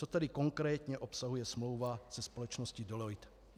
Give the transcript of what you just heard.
Co tedy konkrétně obsahuje smlouva se společností Deloitte.